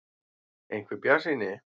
. einhver bjartsýni.